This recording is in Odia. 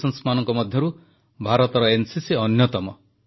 ବିଶ୍ୱର ସବୁଠାରୁ ବଡ଼ ସଂଗଠିତ ଯୁବ ସଂଗଠନ ମଧ୍ୟରୁ ଭାରତର ଏନସିସି ଅନ୍ୟତମ